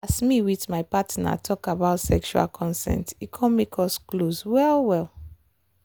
as me with my partner talk about sexual consent e come make us close well well.